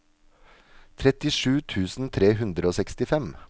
trettisju tusen tre hundre og sekstifem